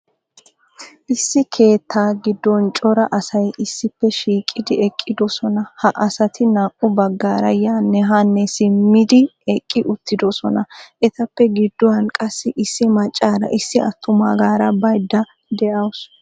Issi keettaa giddon cora asay issippe shiiqqidi eqqiddossona. Ha asati naa"u baggaara yaanne haanne simmidi eqqi uttiddossona. Etappe gidduwan qassi issi maccaaraa issi attumaagaara bayda de'awusu.